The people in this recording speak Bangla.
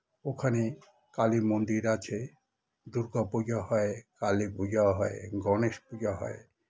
ওখানে কালির মন্দির আছে দুর্গা পূজো হয় কালি পূজাও হয় গণেশ পূজা হয়